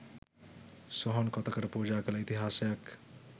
සොහොන් කොතකට පූජා කළ ඉතිහාසයක්